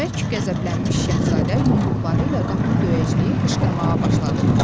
Bərk qəzəblənmiş şahzadə yumruqları ilə qapını döyəcləyib qışqırmağa başladı.